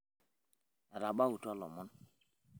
etabautua ilomon